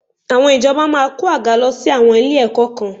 Àwọn ìjọba máa kó àga lọ sí àwọn ilé-ẹ̀kọ́ kan